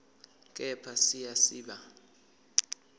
kepha siya siba